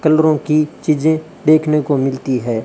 कलरों की चीजें देखने को मिलती है।